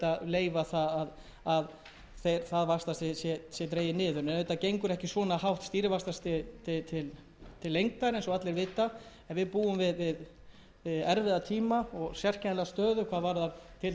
leyfa það að það vaxtastig sé dregið niður svona hátt stýrivaxtastig gengur ekki til lengdar eins og allir vita en við búum við erfiða tíma og sérkennilega stöðu hvað varðar til dæmis eignir erlendra